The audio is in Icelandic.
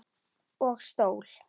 Og stól.